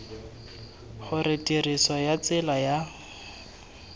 gore tiriso ya tsela ya